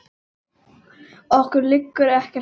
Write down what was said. Okkur liggur ekkert á